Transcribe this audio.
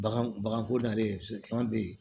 Bagan baganko dalen caman bɛ yen